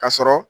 Ka sɔrɔ